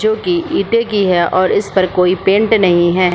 जो की ईटे कि है और इस पर कोई पेंट नहीं है ।